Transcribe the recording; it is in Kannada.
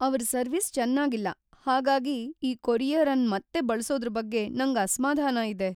ಅವ್ರ ಸರ್ವಿಸ್ ಚೆನ್ನಾಗಿಲ್ಲ ಹಾಗಾಗಿ ಈ ಕೊರಿಯರ್ ಅನ್ ಮತ್ತೆ ಬಳಸೋದ್ರ ಬಗ್ಗೆ ನಂಗ್ ಅಸ್ಮಾಧಾನ ಇದೆ.